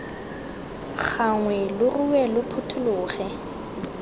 gagwe lo rue lo phuthologe